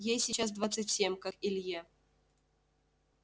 ей сейчас двадцать семь как и илье